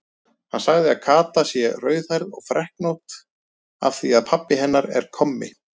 Hann segir að Kata sé rauðhærð og freknótt af því að pabbi hennar er kommi.